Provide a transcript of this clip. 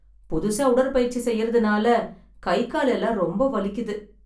புதுசா உடற்பயிற்சி செய்யறதுனால கை கால் எல்லாம் ரொம்ப வலிக்குது.